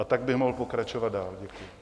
A tak bych mohl pokračovat dál.